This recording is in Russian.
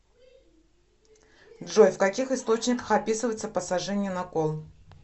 джой в каких источниках описывается посажение на кол